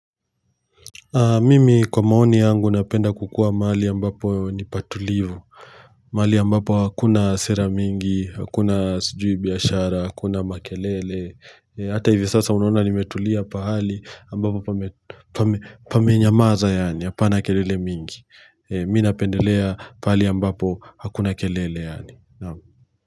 Mimi kwa maoni yangu napenda kukua mahali ya ambapo nipatulivu mahali ambapo hakuna sera mingi, hakuna sijui biaashara, hakuna makelele hata hivi sasa unaona nimetulia pahali ambapo pamenyamaza yaani, hapana kelele mingi Mimi napendelea pahali ya ambapo hakuna kelele yaani.